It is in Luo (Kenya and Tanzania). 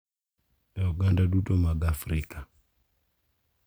E oganda duto mag Afrika,